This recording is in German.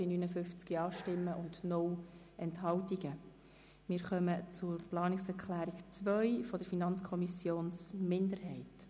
Wir kommen zur Abstimmung über die Planungserklärung der FiKo-Minderheit.